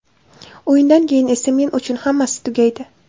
O‘yindan keyin esa men uchun hammasi tugaydi.